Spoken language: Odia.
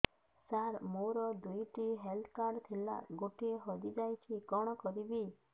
ସାର ମୋର ଦୁଇ ଟି ହେଲ୍ଥ କାର୍ଡ ଥିଲା ଗୋଟେ ହଜିଯାଇଛି କଣ କରିବି